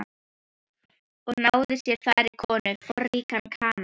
Og náði sér þar í kana, forríkan kana.